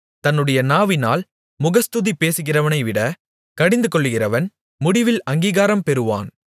தன்னுடைய நாவினால் முகஸ்துதி பேசுகிறவனைவிட கடிந்துகொள்ளுகிறவன் முடிவில் அங்கீகாரம் பெறுவான்